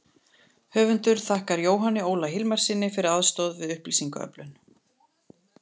Höfundur þakkar Jóhanni Óla Hilmarssyni fyrir aðstoð við upplýsingaöflun.